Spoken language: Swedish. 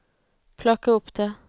plocka upp det